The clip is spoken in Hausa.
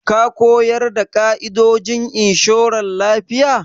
Ka ko yarda da ƙa'idojin inshoran lafiya?